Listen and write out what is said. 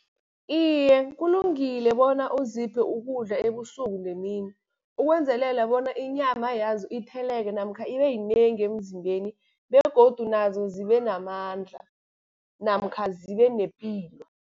Iye, kulungile bona uziphe ukudla ebusuku nemini, ukwenzelela bona inyama yazo itheleke namkha ibe yinengi emzimbeni begodu nazo zibe namandla namkha zibe nepilo.